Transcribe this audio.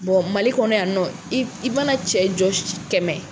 Mali kɔnɔ yan nɔ, i mana cɛ jɔ kɛmɛ